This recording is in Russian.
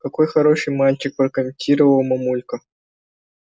какой хороший мальчик прокомментировала мамулька